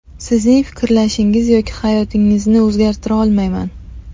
Sizning fikrlashingiz yoki hayotingizni o‘zgartira olmayman.